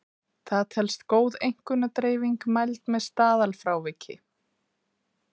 Það telst góð einkunnadreifing mæld með staðalfráviki.